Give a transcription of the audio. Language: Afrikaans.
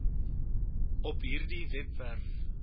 op hierdie webwerf